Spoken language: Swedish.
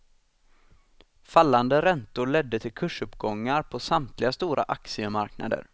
Fallande räntor ledde till kursuppgångar på samtliga stora aktiemarknader.